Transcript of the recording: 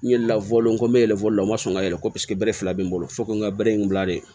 N ye law n ko n bɛ yɛlɛ fɔli la o ma sɔn ka yɛlɛ ko paseke bere fila bɛ n bolo fo ko n ka bere in bila de